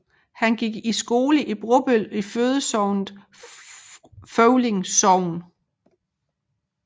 Han gik i skole i Bobøl i fødesognet Føvling Sogn